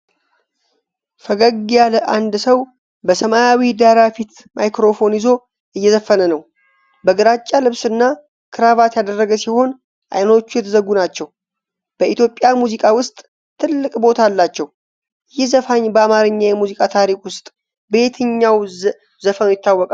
ፈገግ ያለ አንድ ሰው በሰማያዊ ዳራ ፊት ማይክሮፎን ይዞ እየዘፈነ ነው። በግራጫ ልብስና ክራቫት ያደረገ ሲሆን፣ አይኖቹ የተዘጉ ናቸው። በኢትዮጵያ ሙዚቃ ውስጥ ትልቅ ቦታ አላቸው። ይህ ዘፋኝ በአማርኛ የሙዚቃ ታሪክ ውስጥ በየትኛው ዘፈኑ ይታወቃል?